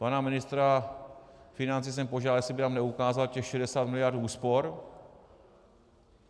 Pana ministra financí jsem požádal, jestli by nám neukázal těch 60 miliard úspor.